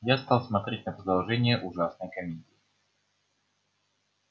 я стал смотреть на продолжение ужасной комедии